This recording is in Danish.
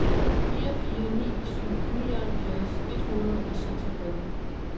fire fire ni syv nioghalvfjerds et hundrede og seksogfyrre